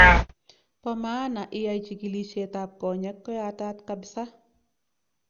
Pa maana iyai chigilseet ap konyek koyatat kapsaa